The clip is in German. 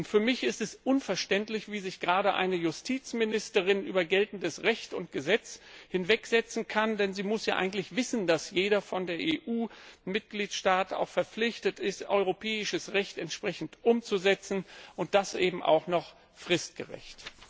Für mich ist es unverständlich, wie sich gerade eine Justizministerin über geltendes Recht und Gesetz hinwegsetzen kann, denn sie muss ja eigentlich wissen, dass jeder Mitgliedstaat der EU auch verpflichtet ist, europäisches Recht entsprechend umzusetzen, und das eben auch noch fristgerecht.